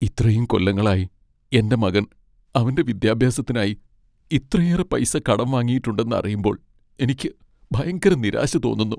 ഇത്രയും കൊല്ലങ്ങളായി എൻ്റെ മകൻ അവൻ്റെ വിദ്യാഭ്യാസത്തിനായി ഇത്രയേറെ പൈസ കടം വാങ്ങിയിട്ടുണ്ടെന്ന് അറിയുമ്പോൾ എനിക്ക് ഭയങ്കര നിരാശ തോന്നുന്നു.